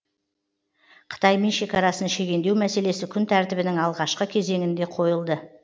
қытаймен шекарасын шегендеу мәселесі күн тәртібінің алғашқы кезеңінде қойылды